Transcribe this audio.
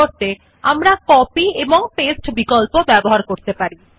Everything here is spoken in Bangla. পরিবর্তে সমস্ত আবার একই টেক্সট টাইপ আমরা কপি এবং লেখক মধ্যে পাস্তে অপশন ব্যবহার করতে পারেন